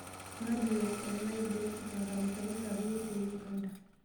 Madi o West Nile diocese nkanisani sapuki te Uganda